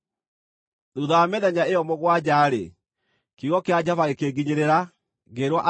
Thuutha wa mĩthenya ĩyo mũgwanja-rĩ, kiugo kĩa Jehova gĩkĩnginyĩrĩra, ngĩĩrwo atĩrĩ,